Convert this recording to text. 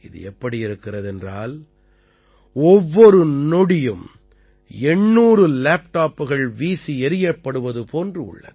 இது எப்படி இருக்கிறது என்றால் ஒவ்வொரு நொடியும் 800 லேப்டாப்புகள் வீசியெறியப்படுவது போன்று உள்ளது